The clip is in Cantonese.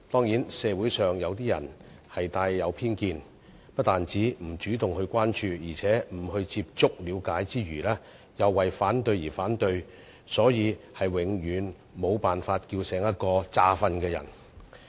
然而，社會上部分人帶有偏見，不但不會主動關注，而且不接觸了解之餘，更為反對而反對，我們是永遠無法喚醒裝睡的人。